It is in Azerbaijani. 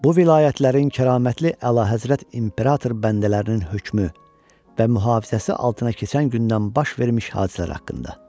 Bu vilayətlərin kəramətli Əlahəzrət imperator bəndələrinin hökmü və mühafizəsi altına keçən gündən baş vermiş hadisələr haqqında.